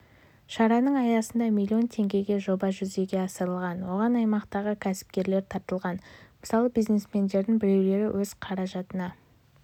шараның аясында ммиллион теңгеге жоба жүзеге асырылған оған аймақтағы кәсіпкерлер тартылған мысалы бизнесмендердің біреулері өз қаражатына